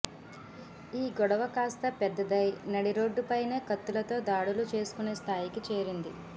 ఈ గొడవ కాస్తా పెద్దదై నడిరోడ్డుపైనే కత్తులతో దాడులు చేసుకునే స్థాయికి చేరింది